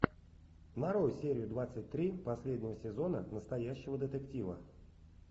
нарой серию двадцать три последнего сезона настоящего детектива